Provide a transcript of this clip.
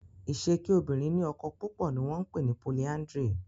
Ise kí obìrin ní ọkọ púpọ ní wón pè ni "polyandry"